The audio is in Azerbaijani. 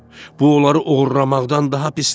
Bu onları oğurlamaqdan daha pisdir.